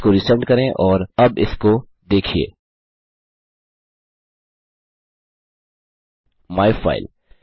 इसको रिसेंड करें और अब इसको देखिये माइफाइल